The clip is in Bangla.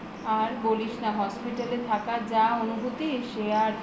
আর বলিস না hospital এ থাকার যা অনুভূতি সে আর